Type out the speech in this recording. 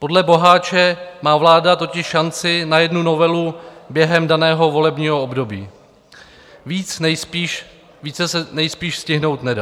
Podle Boháče má vláda totiž šanci na jednu novelu během daného volebního období, více se nejspíš stihnout nedá.